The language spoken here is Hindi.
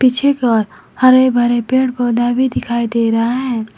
पीछे की ओर हरे भरे पेड़ पौधा भी दिखाई दे रहा है।